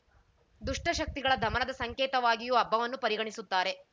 ದುಷ್ಟಶಕ್ತಿಗಳ ದಮನದ ಸಂಕೇತವಾಗಿಯೂ ಹಬ್ಬವನ್ನು ಪರಿಗಣಿಸುತ್ತಾರೆ